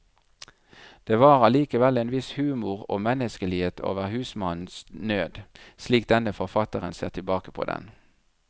Det var allikevel en viss humor og menneskelighet over husmannens nød, slik denne forfatteren ser tilbake på den.